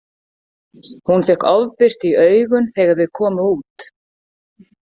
Hún fékk ofbirtu í augun þegar þau komu út.